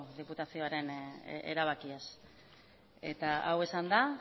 diputazioaren erabakiaz eta hau esanda